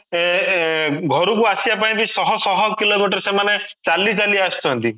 ସେ ଏଁ ଘରୁ କୁ ଆସିବା ପାଇଁ ବି ଶହ ଶହ କିଲୋମିଟର ସେମାନେ ଚାଲି ଚାଲି ଆସୁଛନ୍ତି